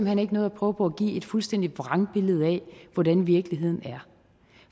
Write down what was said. hen ikke noget at prøve på at give et fuldstændig vrangbillede af hvordan virkeligheden er